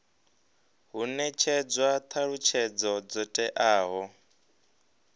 hu netshedzwa thalutshedzo dzo teaho